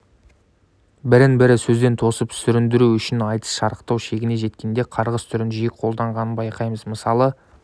бірін-бірін сөзден тосып сүріндіру үшін айтыс шарықтау шегіне жеткенде қарғыс түрін жиі қолданғанын байқаймыз мысалы